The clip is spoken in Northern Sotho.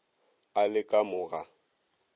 a le ka mo ga